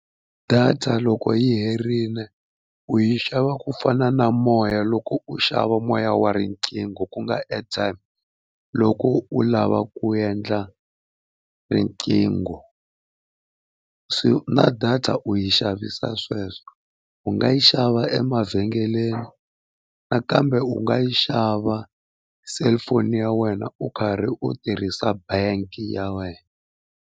Data loko yi herile u yi xava ku fana na moya loko u xava moya wa riqingho ku nga airtime, loko u lava ku endla riqingho se na data u yi xavisa sweswo. U nga yi xava emavhengeleni nakambe u nga yi xava cellphone ya wena u karhi u tirhisa bank ya wena.